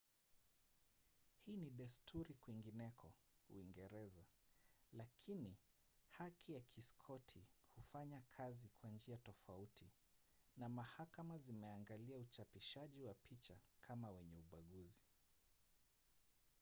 hii ni desturi kwingineko uingereza lakini haki ya kiskoti hufanya kazi kwa njia tofauti na mahakama zimeangalia uchapishaji wa picha kama wenye ubaguzi